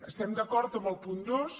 estem d’acord amb el punt dos